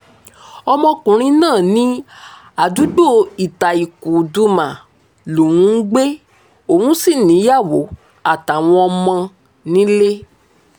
ọmọkùnrin náà ní àdúgbò ità-kuldumah lòún ń gbé òun sí níyàwó àtàwọn ọmọ nílé